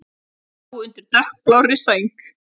Pabbi lá undir dökkblárri sæng.